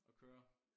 At køre